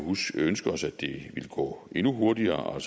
ønske os at det ville gå endnu hurtigere og